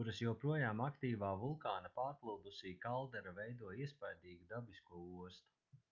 kuras joprojām aktīvā vulkāna pārplūdusī kaldera veido iespaidīgu dabisko ostu